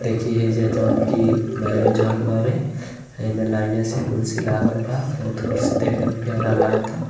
देखी हईजा जवन कि मैरेज हॉल बावे। एमे लाइने से कुर्सी लागल बा। बहुत कुर्सी देखे में प्यारा लागत ह।